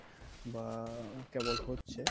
বা কেবল হচ্ছে